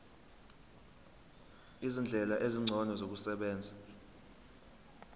izindlela ezingcono zokusebenza